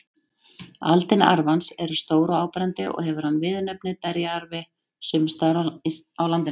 Aldin arfans eru stór og áberandi og hefur hann viðurnefnið berjaarfi sums staðar á landinu.